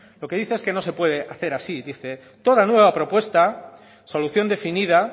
lo que dice es que no se puede hacer así dice toda nueva propuesta solución definida